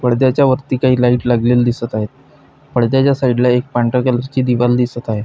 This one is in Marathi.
पडद्याच्या वरती काही लाइट लागलेली दिसत आहे पडद्याच्या साइडला एक पांढऱ्या कलरची दिवाल दिसत आहे.